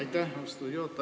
Aitäh, austatud juhataja!